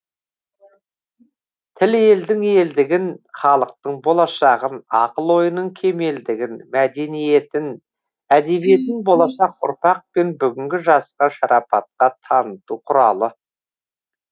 тіл елдің елдігін халықтың болашағын ақыл ойының кемелдігін мәдениетін әдебиетін болашақ ұрпақ пен бүгінгі жасқа шарапатқа таныту құралы